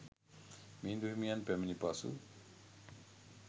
මිහිඳු හිමියන් පැමිණි පසු